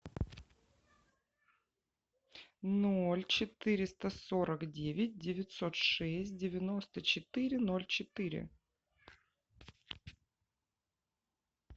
ноль четыреста сорок девять девятьсот шесть девяносто четыре ноль четыре